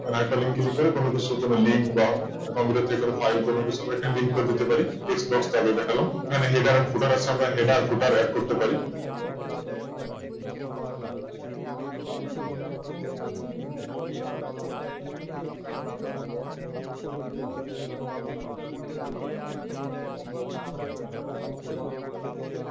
এখানে আরেকটা Link click করে কোন কিছু কোন Link বা Computer থেকে কোন ফাইল বা কোন কিছু Link করে দিতে পারি Text box টা আগে দেখালাম Header future আছে এখানে Header future add করতে পারি